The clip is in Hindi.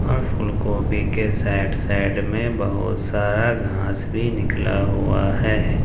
फूल गोभी के सब सब में बहुत सारा घास भी निकला हुआ है।